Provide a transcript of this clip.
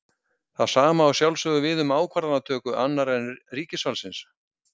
Það sama á að sjálfsögðu við um ákvarðanatöku annarra en ríkisvaldsins.